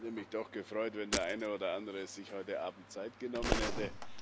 Ich hätte mich doch gefreut, wenn der eine oder andere sich heute Abend Zeit genommen hätte.